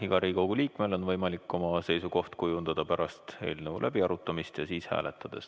Igal Riigikogu liikmel on võimalik oma seisukoht kujundada pärast eelnõu läbiarutamis ja siis hääletada.